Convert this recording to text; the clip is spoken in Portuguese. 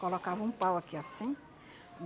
Colocava um pau aqui assim.